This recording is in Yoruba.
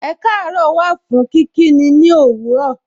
Ekaaro wà fún kí kí ni òwúrọ̀.